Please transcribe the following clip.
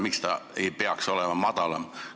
Miks see ei võiks madalam olla?